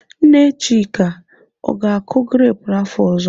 Nne Chika, ọ ga-akọ grepụ afọ ọzọ?